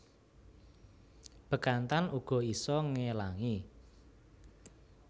Bekantan uga isa ngelangi